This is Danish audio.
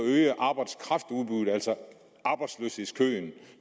øge arbejdskraftudbuddet altså arbejdsløshedskøen